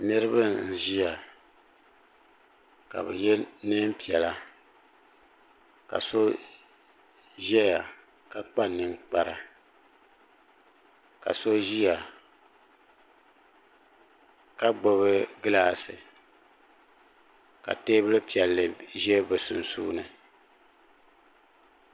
niraba n ʒiya ka bi yɛ neen piɛla ka so ʒɛya ka kpa ninkpara ka so ʒiya ka gbubi gilaasi ka teebuli piɛlli ʒɛ bi sunsuuni